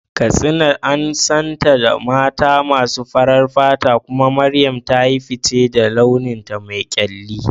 Katsina an santa da mata masu farar fata, kuma Mariam ta yi fice da launinta me kyalli.